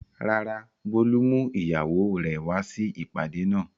Rárá, Bólú mú ìyàwó rẹ̀ wá sí ìpàdé náà.